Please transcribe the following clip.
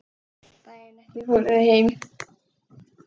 Daginn eftir fóru þau heim.